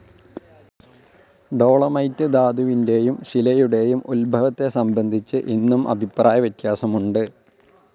Dolomite ധാതുവിന്റെയും ശിലയുടെയും ഉദ്ഭവത്തെ സംബന്ധിച്ച് ഇന്നും അഭിപ്രായവ്യത്യാസമുണ്ട്.